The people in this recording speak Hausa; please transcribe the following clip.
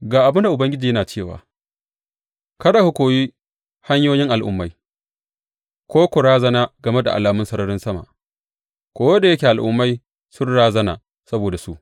Ga abin da Ubangiji yana cewa, Kada ku koyi hanyoyin al’ummai ko ku razana game da alamun sararin sama, ko da yake al’ummai sun razana saboda su.